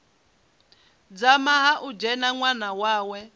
dzama ha dzhena ṅwana wawe